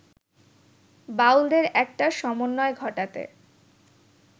বাউলদের একটা সমন্বয় ঘটাতে